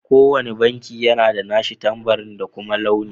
Ko wanne banki yana da nashi tambari da kuma launi.